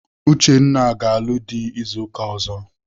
Uchenna ga-alụ dị izu ụka ọzọ.